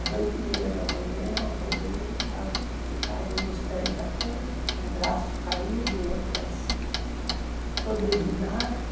Às oito e meia da manhã eu acordei, ele estava esticado nos pés da cama, um braço caído, o outro assim, todo urinado.